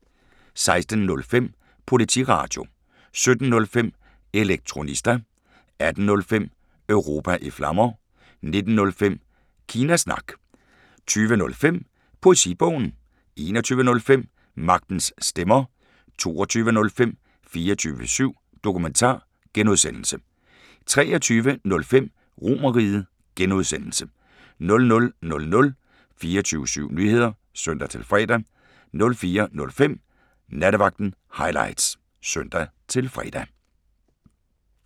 16:05: Politiradio 17:05: Elektronista 18:05: Europa i Flammer 19:05: Kina Snak 20:05: Poesibogen 21:05: Magtens Stemmer 22:05: 24syv Dokumentar (G) 23:05: RomerRiget (G) 00:00: 24syv Nyheder (søn-fre) 04:05: Nattevagten Highlights (søn-fre)